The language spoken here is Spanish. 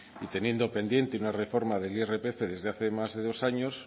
y teniendo pendiente una reforma del irpf desde hace más de dos años